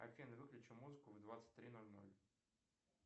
афина выключи музыку в двадцать три ноль ноль